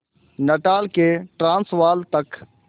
Natal से Transvaal तक